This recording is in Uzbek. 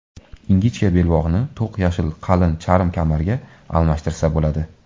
Ingichka belbog‘ni, to‘q yashil qalin charm kamarga almashtirsa bo‘ladi.